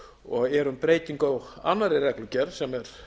og er um breytingu á annarri reglugerð sem er